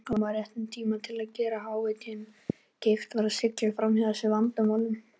Nesjavallavirkjun kom á réttum tíma til að gera hitaveitunni kleift að sigla framhjá þessum vandamálum.